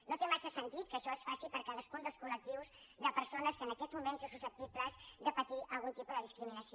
no té massa sentit que això es faci per a cadascun dels col·lectius de persones que en aquests moments són susceptibles de patir algun tipus de discriminació